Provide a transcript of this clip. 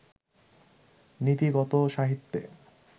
নীতিগত সাহিত্যে